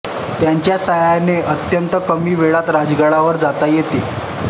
त्यांच्या साह्याने अत्यंत कमी वेळात राजगडावर जाता येते